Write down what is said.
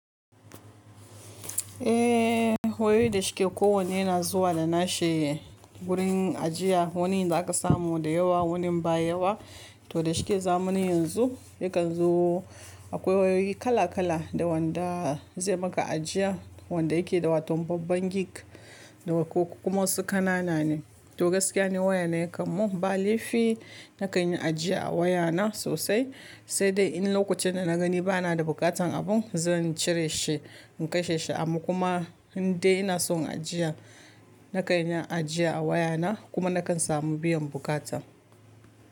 Eh wayoyi da shike ko wanne yana zuwa da nashe wurin ajiya. Wani za ka samu da yawa, wani baya yawa to da shike zamani yanzu yakan zo akwai wayoyi kala kala da wanda zai maka ajiya, wanda yake da watau babban gig da wa ko kuma wasu ƙanana ne. To gaskiya ne waya na yakan mun ba laifi na kanyi ajiya a waya na sosai, sai dai in lokacin da na gani bana da buƙatan abun zan cire shi in kai shi amu kuma inda ina son ajiya na kanyi ajiya a waya na kuma na kan samu biyan buƙatan.